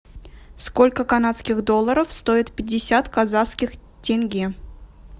сколько канадских долларов стоит пятьдесят казахских тенге